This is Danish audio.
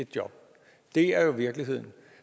et job det er jo virkeligheden